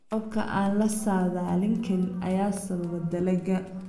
Roobabka aan la saadaalin karin ayaa sababa dalaga